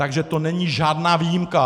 Takže to není žádná výjimka.